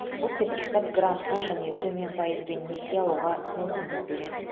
бұл сертификат грантқа және төмен пайызбен несие алуға мүмкіндік береді